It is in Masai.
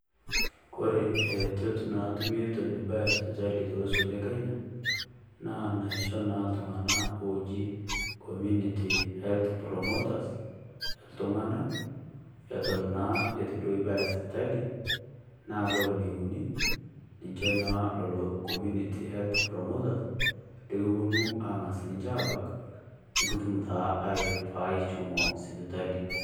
Kore aretot naatumi eton ibaya sipitali tolosho le Kenya, naa naisho naa iltung'ana oji community health promoters e iltung'ana eton naa etuu do ibaya sipitali. Naa kore neikuni ninchee naa lelo community health promoters lekiponu ang'as ninchee abaak nikituum taa airifaa echomoo sipitali.